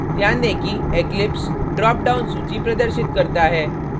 ध्यान दें कि eclipse drop down सूची प्रदर्शित करता है